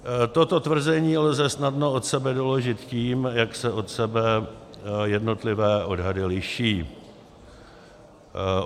Toto tvrzení lze snadno od sebe doložit tím, jak se od sebe jednotlivé odhady liší.